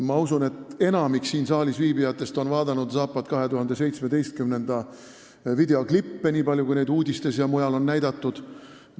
Ma usun, et enamik siin saalis viibijatest on vaadanud Zapad 2017 videoklippe, nii palju kui neid uudistes ja mujal on näidatud.